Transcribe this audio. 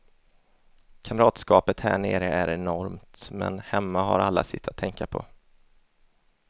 Kamratskapet här nere är enormt, men hemma har alla sitt att tänka på.